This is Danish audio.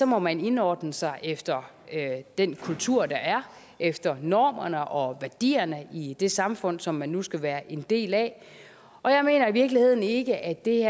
må man indordne sig efter den kultur der er der efter normerne og værdierne i det samfund som man nu skal være en del af og jeg mener i virkeligheden ikke at det